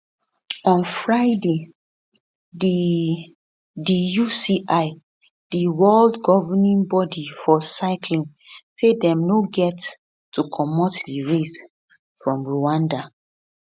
on friday di di uci di world governing body for cycling say dem no get to comot di race from rwanda